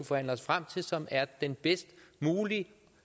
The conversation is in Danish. forhandle os frem til og som er den bedst mulige